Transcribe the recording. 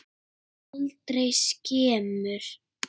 Aldrei skemur.